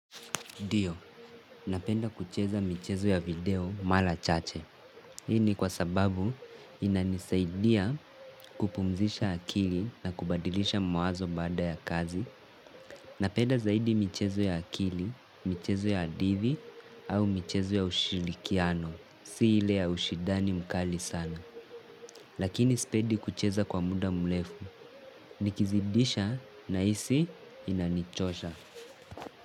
Ndio, napenda kucheza michezo ya video mara chache. Hii ni kwa sababu inanisaidia kupumzisha akili na kubadilisha mawazo baada ya kazi. Napenda zaidi michezo ya akili, michezo ya hadithi, au michezo ya ushirikiano. Si hile ya ushidani mkali sana. Lakini sipendi kucheza kwa muda mrefu. Nikizidisha na hisi inanichosha.